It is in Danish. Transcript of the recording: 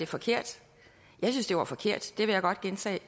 forkert jeg synes det var forkert det vil jeg godt gentage